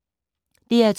DR2